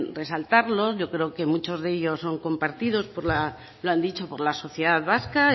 resaltarlos yo creo que muchos de ellos son compartidos lo han dicho por la sociedad vasca